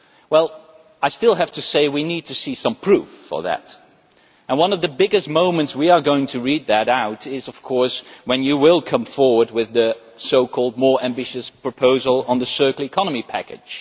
Well, I still have to say that we need to see some proof of that. One of the biggest moments when we are going to read that out is, of course, when you come forward with the so called more ambitious proposal on the circular economy package.